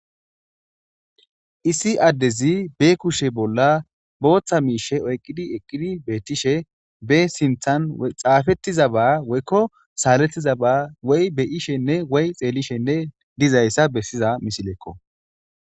Issi adezi be kushe bolla botha misha oyqidi eqidi betishe sinthan xafetizaba woykon saletizaba woy xelishenne woy beyishe giza misilekko